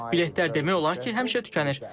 Biletlər demək olar ki, həmişə tükənir.